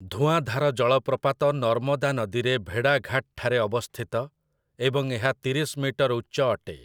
ଧୂଆଁଧାର ଜଳପ୍ରପାତ ନର୍ମଦା ନଦୀରେ ଭେଡ଼ାଘାଟ୍ ଠାରେ ଅବସ୍ଥିତ ଏବଂ ଏହା ତିରିଶ ମିଟର ଉଚ୍ଚ ଅଟେ ।